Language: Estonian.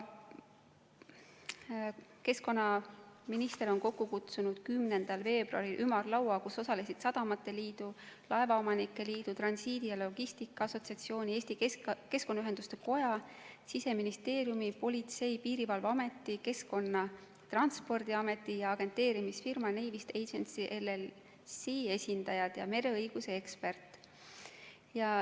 Keskkonnaminister kutsus 10. veebruaril kokku ümarlaua, kus osalesid Eesti Sadamate Liidu, Eesti Laevaomanike Liidu, Transiidi ja Logistika Assotsiatsiooni, Eesti Keskkonnaühenduste Koja, Siseministeeriumi, Politsei- ja Piirivalveameti, Keskkonnaameti, Transpordiameti ja agenteerimisfirma Navest Agency LLC esindajad ja mereõiguse ekspert.